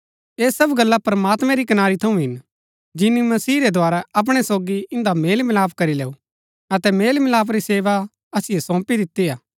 ऐह सब गल्ला प्रमात्मैं री कनारी थऊँ हिन जिनी मसीह रै द्धारा अपणै सोगी इन्दा मेलमिलाप करी लैऊ अतै मेलमिलाप री सेवा असिओ सौंपी दिती हा